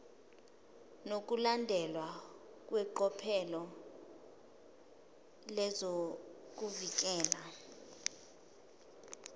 nokulandelwa kweqophelo lezokuvikeleka